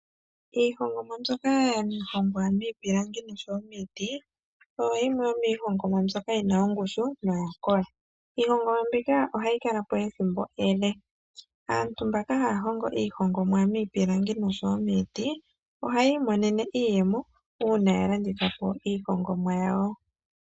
Iihongomwa mbyoka ya hongwa miipilangi noshowo miiti oyo yimwe yomii hongomwa mbyoka yina ongushu noya kola. Iihongomwa mbika ohayi kala po ethimbo ele. Aantu mbaka haya hongo iihongomwa miipilangi noshowo miiti ohayi imonene iiyemo uuna ya landitha po iihongomwa yawo.